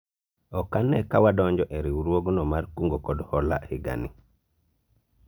ok ane ka wadonjo e riwruogno mar kungo kod hola higa ni